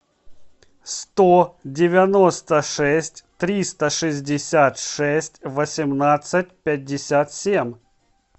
сто девяносто шесть триста шестьдесят шесть восемнадцать пятьдесят семь